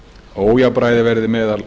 ójafnræði verði meðal